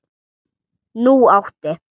Nú átti